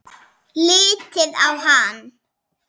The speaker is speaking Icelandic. Lítið á hann!